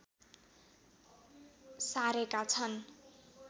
सारेका छन्